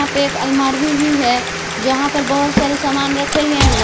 यहां पे एक अलमारी भी है जहां पर बहुत सारे सामान रखें गए हैं।